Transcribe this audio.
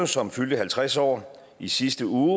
som fyldte halvtreds år i sidste uge